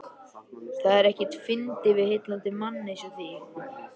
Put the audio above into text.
Það er ekkert fyndið við heillandi mann einsog þig.